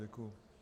Děkuji.